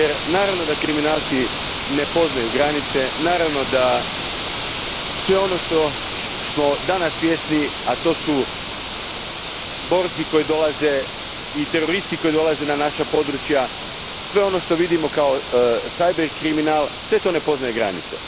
Naravno da kriminalci ne poznaju granice, naravno da sve ono čega smo danas svjesni, a to su borci i teroristi koji dolaze na naša područja, sve ono što vidimo kao cyber kriminal sve to ne poznaje granice.